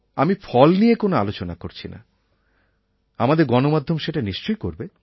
আমি ফল নিয়ে কোনও আলোচনা করছি না আমাদের গণমাধ্যম সেটা নিশ্চয়ই করবে